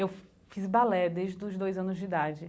Eu fiz balé desde os dois anos de idade.